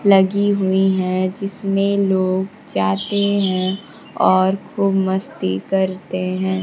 लगी हुई हैं जिसमे लोग जाते हैं और खूब मस्ती करते हैं।